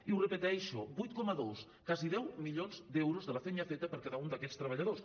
i ho repeteixo vuit coma dos quasi deu milions d’euros de la feina feta per cada un d’aquests treballadors